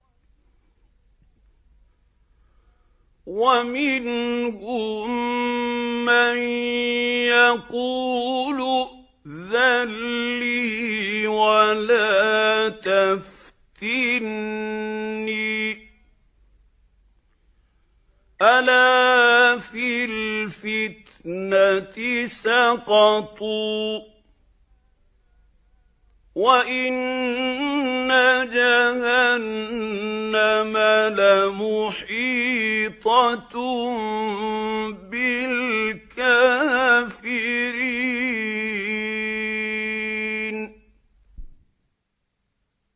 وَمِنْهُم مَّن يَقُولُ ائْذَن لِّي وَلَا تَفْتِنِّي ۚ أَلَا فِي الْفِتْنَةِ سَقَطُوا ۗ وَإِنَّ جَهَنَّمَ لَمُحِيطَةٌ بِالْكَافِرِينَ